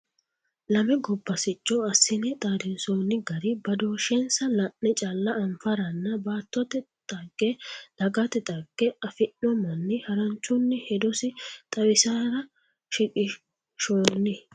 Lame gobba sicco assine xaadinsonni gari badooshensa la'ne calla anfaranna baattote dhagge dagate dhagge afino manni haranchunni hedosi xawisara shiqqinshoni.